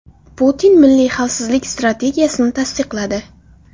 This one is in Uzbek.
Putin milliy xavfsizlik strategiyasini tasdiqladi.